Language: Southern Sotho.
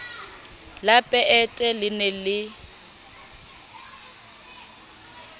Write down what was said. la peete le ne le